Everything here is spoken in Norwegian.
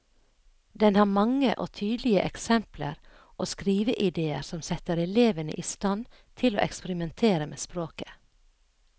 Den har mange og tydelige eksempler og skriveidéer som setter elevene i stand til å eksperimentere med språket.